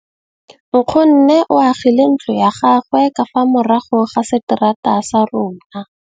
Nkgonne o agile ntlo ya gagwe ka fa morago ga seterata sa rona.